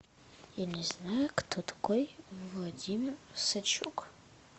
я не знаю кто такой владимир сычук